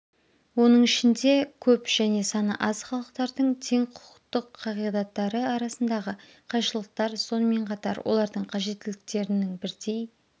оның ішінде көп және саны аз халықтардың теңқұқықтық қағидаттары арасындағы қайшылықтар сонымен қатар олардың қажеттіліктерінің бірдей